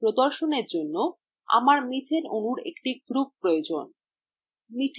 প্রদর্শনের জন্য আমার methane অণুর একটি group প্রয়োজন